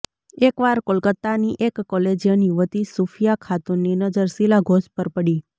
એકવાર કોલકાતાની એક કોલેજિયન યુવતી સૂફિયા ખાતૂનની નજર શીલા ઘોષ પર પડી